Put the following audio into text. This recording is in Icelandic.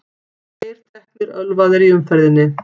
Tveir teknir ölvaðir í umferðinni